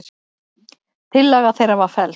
Tillaga þeirra var felld.